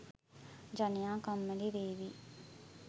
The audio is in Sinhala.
ජනයා කම්මැලි වේවි